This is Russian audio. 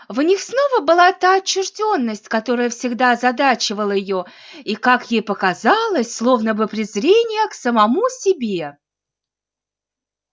в них снова была та отчуждённость которая всегда озадачивала её и как ей показалось словно бы презрение к самому себе